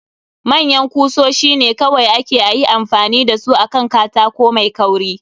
Manyan kusoshi ne kawai ake ayi amfani da su akan katako mai kauri.